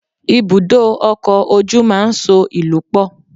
Ibùdó ọkọ̀ ojú máa ń so ìlú pọ̀